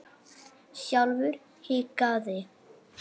Sjálfur hikaði